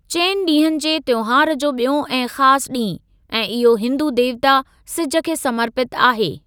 चइनि ॾींहनि जे त्‍योहार जो ॿियों ऐं खास ॾींहुं, ऐं इहो हिंदू देवता सिज खे समर्पित आहे।